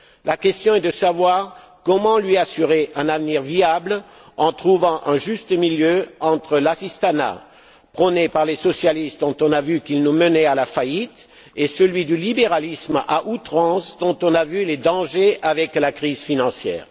La question est de savoir comment lui assurer un avenir viable en trouvant un juste milieu entre l'assistanat prôné par les socialistes, dont on a vu qu'il nous menait à la faillite, et celui du libéralisme à outrance, dont on a vu les dangers avec la crise financière.